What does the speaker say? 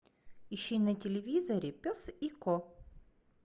ищи на телевизоре пес и ко